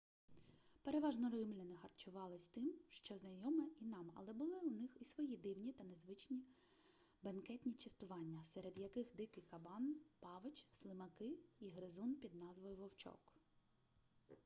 переважно римляни харчувались тим що знайоме і нам але були у них і свої дивні та незвичні бенкетні частування серед яких дикий кабан павич слимаки і гризун під назвою вовчок